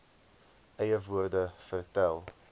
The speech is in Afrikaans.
eie woorde vertel